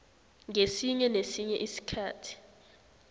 ngesinye nesinye isikhathi